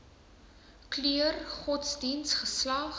kleur godsdiens geslag